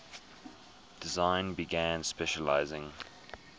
design began specializing